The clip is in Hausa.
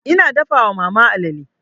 Ina dafa wa mama alale.